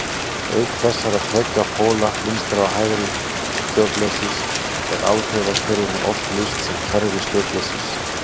Auk þessara tveggja póla vinstra- og hægra stjórnleysis er alþjóðakerfinu oft lýst sem kerfi stjórnleysis.